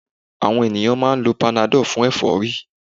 Àwon ènìyàn máa n lo panadol fún èfórí